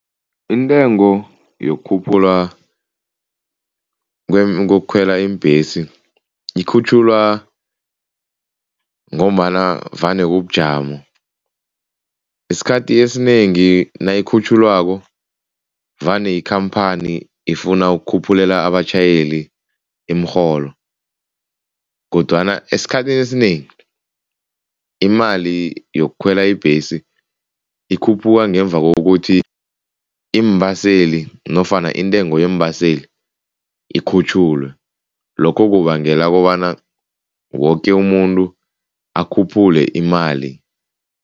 Intengo yokukhuphulwa kokukhwelwa iimbhesi ikhutjhulwa ngombana vane kubujamo. Isikhathi esinengi nayikhutjhulwako vane ikhamphani ifuna ukukhuphulela abatjhayeli imirholo kodwana esikhathini esinengi imali yokukhwela ibhesi ikhuphuka ngemva kokuthi iimbaseli nofana intengo yeembaseli ikhutjhulwe, lokho kubangela kobana woke umuntu akhuphule imali.